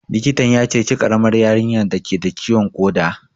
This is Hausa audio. Likitan ya ceci ƙaramar yarinyar dake da ciwon ƙoda